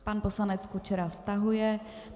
Pan poslanec Kučera stahuje.